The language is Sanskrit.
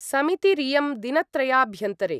समितिरियं दिनत्रयाभ्यन्तरे